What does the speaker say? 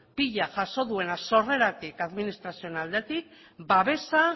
pila jaso duena sorreratik administrazioen aldetik babesa